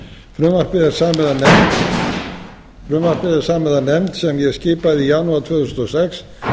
frumvarpið er samið af nefnd sem ég skipaði í janúar tvö þúsund og sex